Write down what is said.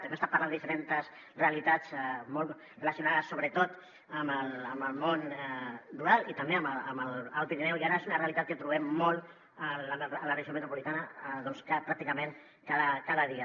hem estat parlant de diferents realitats relacionades sobretot amb el món rural i també amb l’alt pirineu i ara és una realitat que trobem molt a la regió metropolitana pràcticament cada dia